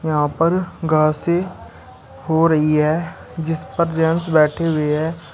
यहां पर घासे हो रही है जिसपर जेंट्स बैठे हुए हैं।